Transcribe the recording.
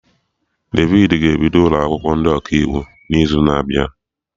Devid ga-ebido ụlọ akwụkwọ ndị Ọkaiwu n'izu na-abịa